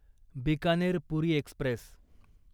Bikaner Puri Express